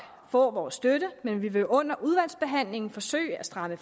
få vores støtte men vi vil under udvalgsbehandlingen forsøge at stramme